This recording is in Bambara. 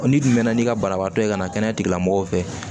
n'i dun bɛnna n'i ka banabaatɔ ye ka na kɛnɛya tigi lamɔgɔw fɛ